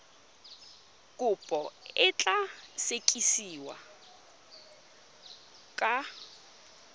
kopo e tla sekasekiwa ka